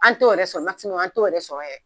An t'o yɛrɛ sɔrɔ an t'o yɛrɛ sɔrɔ